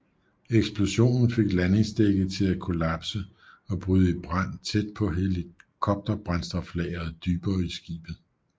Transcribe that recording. Eksplosionen fik landingsdækket til at kollapse og bryde i brand tæt på helikopterbrændstoflageret dybere i skibet